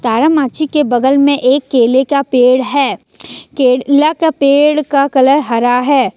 तारामाची के बगल में एक केले का पेड़ है केला का पेड़ का कलर हरा है।